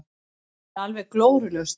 Það er alveg glórulaust.